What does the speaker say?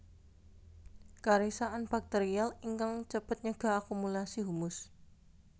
Karisakan bakterial ingkang cepet nyegah akumulasi humus